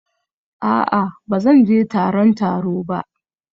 A'a ba zan je taron taro ba